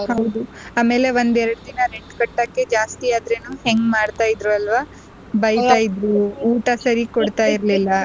ಹೌದು ಆಮೇಲೆ ಒಂದೇರ್ದಿನ rent ಕಟ್ಟಾಕಿ ಜಾಸ್ತಿ ಆದ್ರೂನು ಎಂಗ್ ಮಾಡ್ತಾ ಇದ್ರು ಅಲ್ವಾ ಬೈತ ಇದ್ರು ಊಟ ಸರಿಯಾಗ್ ಕೊಡ್ತಾ ಇರ್ಲಿಲ್ಲ.